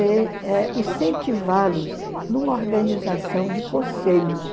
e eh incentivá-los numa organização de conselhos.